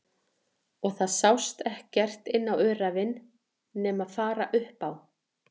Og það sást ekkert inn á öræfin nema fara upp á